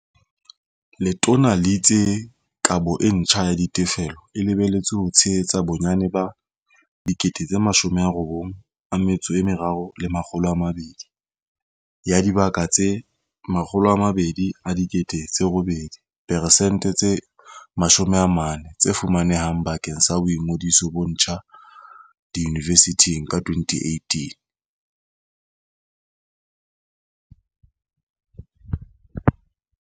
Letona le itse kabo e ntjha ya ditefello e lebeletswe ho tshe hetsa bonyane 83 200 ya dibaka tse 208 000 diperesente tse 40 tse fumane hang bakeng sa boingodiso bo ntjha diyunivesithing ka 2018.